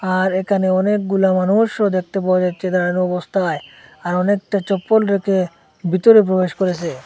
আর এখানে অনেকগুলা মানুষও দেখতে পাওয়া যাচ্ছে দাঁড়ানো অবস্থায় আর অনেকটা চপ্পল রেখে ভিতরে প্রবেশ করেসে।